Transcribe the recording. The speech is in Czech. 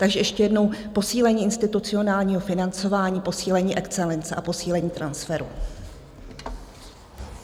Takže ještě jednou: posílení institucionálního financování, posílení excelence a posílení transferu.